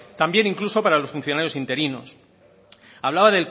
también incluso para los funcionarios interinos hablaba